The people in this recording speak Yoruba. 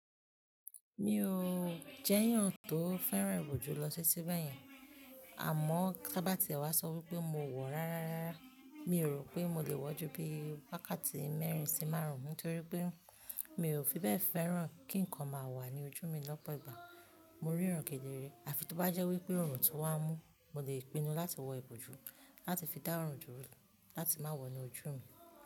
Mi ò jẹ́ èèyàn tó fẹ́ràn ìbòjú lọ ti ti bẹ̀ yẹn, àmọ́ tá bá ti ẹ wá sọ wípé mo wọ̀ rárá rárá, mi ò rò pé mo lè wọ́ jú bí wákàtí mẹ́rin sí márùn-ún, nítorí pé mi ò fi bẹ́ẹ̀ fẹ́ràn kí ǹkan máa wà ní ojú mi lọ́pọ̀ ìgbà. Mo ríran kedere, àfi tó bá jẹ́ wípé òòrùn tó wá mú, mo lè pinu láti wọ ìbòjú láti fi dá òòrùn dúró láti má wọ̀ inu ojú mi.